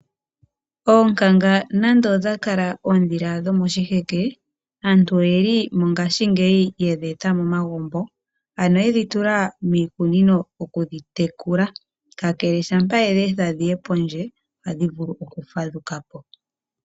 Oonkanga nande odha kala oondhila dhomoshiheke, aantu oyeli mongaashingeyi yedhi eta momagumbo ano yedhi tula miikunino okudhi tekula, kakele shampa wedhi etha dhiye pondje ohadhi vulu okufadhuka po.